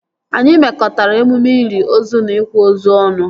Anyị mekọtara emume ili ozu na ịkwa ozu ọnụ